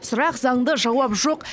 сұрақ заңды жауап жоқ